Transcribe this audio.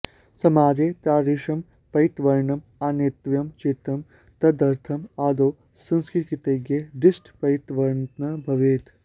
समाजे तादृशं परिवर्तनम् आनेतव्यं चेत् तदर्थम् आदौ संस्कृतज्ञेषु दृष्टिपरिवर्तनं भवेत्